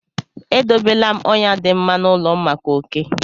E dobe la m ọnyà dị mma n’ụlọ m maka oké.